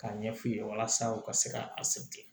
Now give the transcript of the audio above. K'a ɲɛ f'i ye walasa u ka se ka a